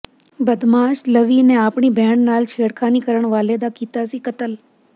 ਬਦਮਾਸ਼ ਲਵੀ ਨੇ ਆਪਣੀ ਭੈਣ ਨਾਲ ਛੇੜਖਾਨੀ ਕਰਨ ਵਾਲੇ ਦਾ ਕੀਤਾ ਸੀ ਕਤਲ